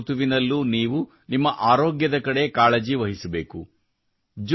ಪ್ರತಿಯೊಂದು ಋತುವಿನಲ್ಲೂ ನೀವು ನಿಮ್ಮ ಆರೋಗ್ಯದ ಕಡೆ ಕಾಳಜಿ ವಹಿಸಬೇಕು